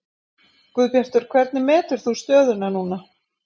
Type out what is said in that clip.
Guðbjartur hvernig metur þú stöðuna núna?